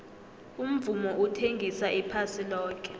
umvumo uthengisa iphasi loke